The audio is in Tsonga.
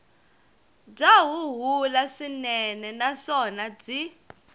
bya huhula swinene naswona byi